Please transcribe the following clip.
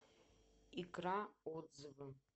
икра отзывы